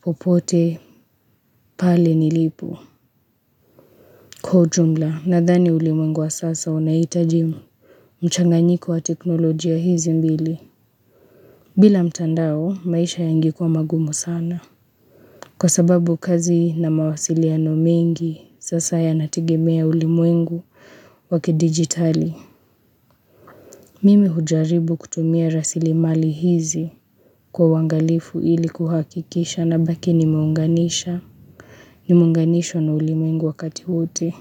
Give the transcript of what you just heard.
popote pale nilipo Kwa ujumla, nadhani ulimwengu wa sasa unahitaji mu mchanganyiko wa teknolojia hizi mbili bila mtandao, maisha yange kuwa magumu sana Kwa sababu kazi na mawasiliano mengi, sasa yanategemea ulimwengu wakidigitali. Mimi hujaribu kutumia rasili mali hizi kwa uwangalifu ili kuhakikisha na baki nimeunganisha, ni munganisho na ulimwengu wakati wote.